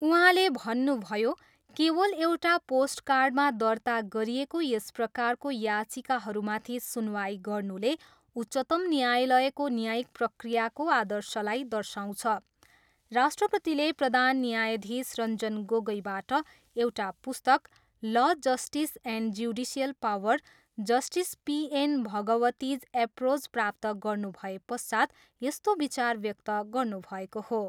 उहाँले भन्नुभयो, केवल एउटा पोस्टकार्डमा दर्ता गरिएका यस प्रकारको याचिकाहरूमाथि सुनवाई गर्नुले उच्चतम न्यायालयको न्यायिक प्रक्रियाको आदर्शलाई दर्शाउँछ। राष्ट्रपतिले प्रधान न्यायधीश रञ्जन गोगोईबाट एउटा पुस्तक law, justice and judicial power, justice P N Bhagwati's approach प्राप्त गर्नुभएपश्चात् यस्तो विचार व्यक्त गर्नुभएको हो।